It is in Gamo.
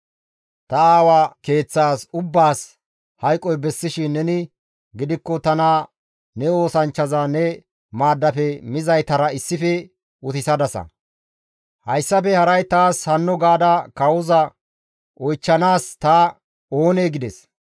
Ta aawa keeththas ubbaas hayqoy bessishin neni gidikko tana ne oosanchchaza ne maaddafe mizaytara issife utisadasa; hayssafe haray taas hano gaada kawoza oychchanaas ta oonee?» gides.